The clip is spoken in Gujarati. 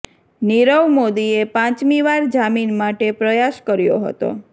નીરવ મોદીએ પાંચમી વાર જામીન માટે પ્રયાસ કર્યો હતો